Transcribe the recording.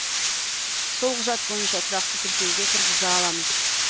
сол құжат бойынша тұрақты тіркеуге тұрғыза аламыз